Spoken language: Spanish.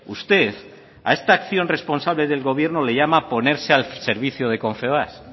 usted a esta acción responsable del gobierno le llama ponerse al servicio de confebask